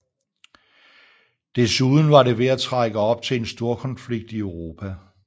Desuden var det ved at trække op til en storkonflikt i Europa